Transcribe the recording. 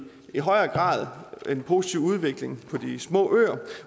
i højere grad den positive udvikling på de små øer